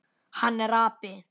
Hann er api.